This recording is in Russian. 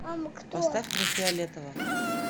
поставь мне фиолетово